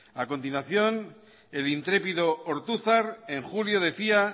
a continuación el intrépido ortuzar en julio decía